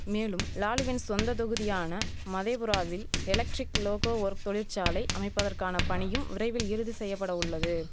மேலும் லாலுவின் சொந்த தொகுதியான மதேபுராவில் எலக்ட்ரிக் லோகோ ஒர்க்ஸ் தொழிற்சாலை அமைப்பதற்கான பணியும் விரைவில் இறுதி செய்யபட உள்ளது